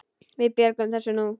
Við björgum þessu nú.